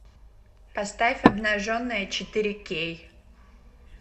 поставь обнаженная четыре кей